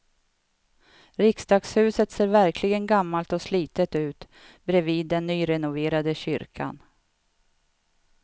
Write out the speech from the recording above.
Riksdagshuset ser verkligen gammalt och slitet ut bredvid den nyrenoverade kyrkan.